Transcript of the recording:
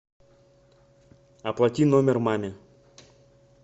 оплати номер маме